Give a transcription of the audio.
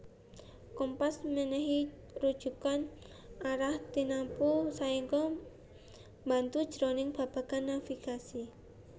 Kompas mènèhi rujukan arah tinamtu saéngga mbantu jroning babagan navigasi